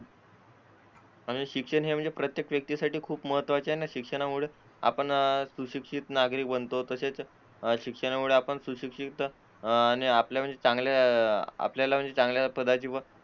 आणि शिक्षण हे म्हणजे प्रत्येक व्यक्तीसाठी खूप महत्त्वाचे आणि शिक्षणामुळे आपण शिक्षित नागरिक बनतो तसेच शिक्षणामुळे आपण सुशिक्षित आणि आपल्याला चांगल्या पदाची